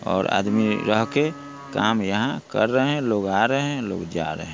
और आदमी रहके काम यहाँ कर रहे हैं लोग आ रहे हैं लोग जा रहे हैं।